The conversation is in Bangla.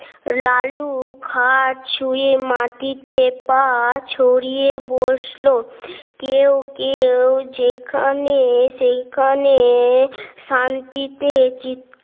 লালু খাট ছুঁয়ে মাটিতে পা ছড়িয়ে বসলো কেউ কেউ যেখানে সেখানে শান্তিতে চিৎ